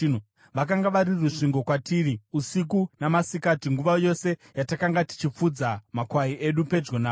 Vakanga vari rusvingo kwatiri usiku namasikati nguva yose yatakanga tichifudza makwai edu pedyo navo.